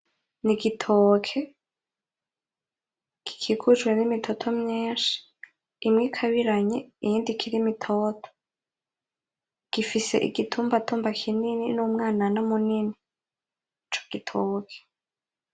N,igitoke gikikujwe n'imitoto myinshi imwe ikabiranye iyindi ikiri mitoto , gifise igitumbatumba kinini n'umwanana munini , ico gitoke .